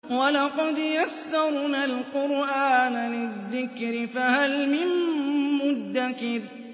وَلَقَدْ يَسَّرْنَا الْقُرْآنَ لِلذِّكْرِ فَهَلْ مِن مُّدَّكِرٍ